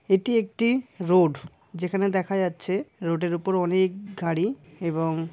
এটি একটি রোড । যেখানে দেখা যাচ্ছে রোড এর উপর অনেক গাড়ি এবং--